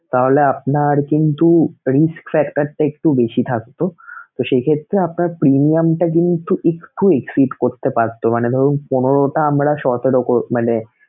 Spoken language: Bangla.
তাহলে আপনার কিন্তু risk factor টা একটু বেশি থাকতো তো সেই ক্ষেত্রে আপনার premium টা কিন্তু একটু skip করতে পারতো মানে ধরুন পনেরোটা আমরা সতে~ মানে